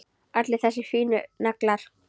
Allir þessir fínu naglar!